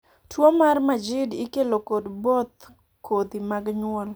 tuo mar Majeed ikelo kod both kodhi mag nyuol